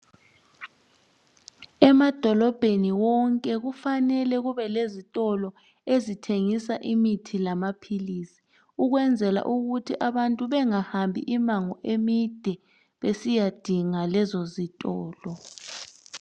Emadolobheni onke kufanele kube lezitolo ezithengisa imithi lamapills ukwenzela ukuthi bengahambi imibango emide besiyadinga lezo zitolo